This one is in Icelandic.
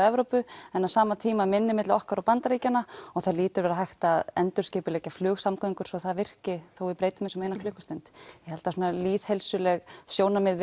Evrópu en á sama tíma minni milli okkar og Bandaríkjanna og það hlýtur að vera hægt að endurskipuleggja flugsamgöngur svo það virki þó við breytum þessu um eina klukkustund ég held að lýðheilsuleg sjónarmið